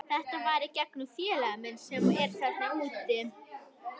Þetta var í gegnum félaga minn sem er þarna úti.